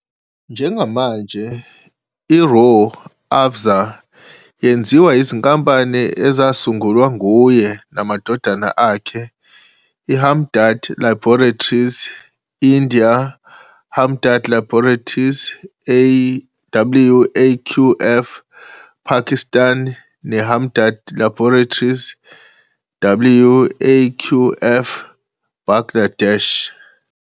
Njengamanje, iRooh Afza yenziwa yizinkampani ezasungulwa nguye namadodana akhe, iHamdard Laboratories, India, Hamdard Laboratories, Waqf, Pakistan neHamdard Laboratories, WAQF, Bangladesh.